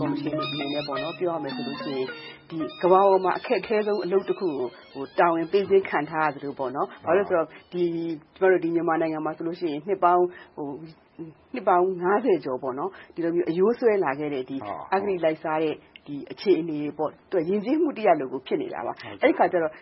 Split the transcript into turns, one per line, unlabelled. ကော်မရှင်အနေနဲ့ ပြောရမယ်ဆိုလို့ရှိရင် ကမ္ဘာပေါ်မှာ အခက်ခဲဆုံး အလုပ်တခုကို တာဝန်ပေးခြင်း ခံထားရသလို၊ မြန်မာနိုင်ငံမှာဆိုရင် နှစ်ပေါင်း ကျော် အရိုးစွဲလာခဲ့တဲ့ အဂတိလိုက်စားတဲ့ အခြေအနေတွေက ယဉ်ကျေးမှုတရပ်လို ဖြစ်နေတာပါ။ အဲဒီအခါကြတော့